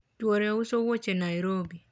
chuore uso wuoche Nairobi